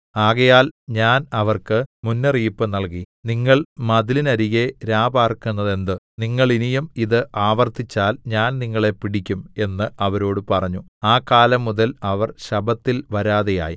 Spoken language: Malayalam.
ആകയാൽ ഞാൻ അവർക്ക് മുന്നറിയിപ്പ് നൽകി നിങ്ങൾ മതിലിനരികെ രാപാർക്കുന്നതെന്ത് നിങ്ങൾ ഇനിയും ഇത് ആവർത്തിച്ചാൽ ഞാൻ നിങ്ങളെ പിടിക്കും എന്ന് അവരോട് പറഞ്ഞു ആ കാലം മുതൽ അവർ ശബ്ബത്തിൽ വരാതെയായി